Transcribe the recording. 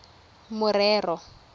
morero